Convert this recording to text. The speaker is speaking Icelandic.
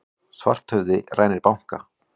Svarthöfði rænir banka